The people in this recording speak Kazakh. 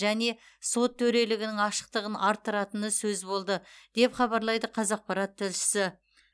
және сот төрелігінің ашықтығын арттыратыны сөз болды деп хабарлайды қазақпарат тілшісі